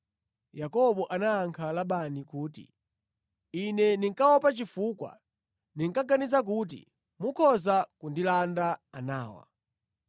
Yakobo anayankha Labani kuti, “Ine ndinkaopa chifukwa ndinkaganiza kuti mukhoza kundilanda anawa.